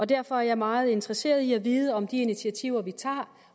derfor er jeg meget interesseret i at vide om de initiativer vi tager